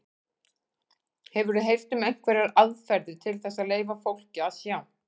Hefurðu heyrt um einhverjar aðferðir til þess að leyfa fólki að sjá?